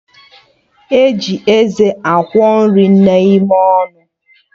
E ji eze akwọ nri n'ime ọnụ